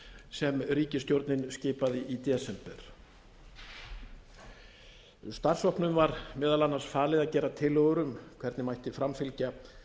sem ríkisstjórnin skipaði í desember starfshópnum var meðal annars falið að gera tillögur um hvernig mætti framfylgja